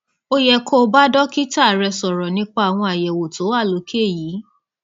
ó yẹ kó o bá dókítà rẹ sọrọ nípa àwọn àyẹwò tó wà lókè yìí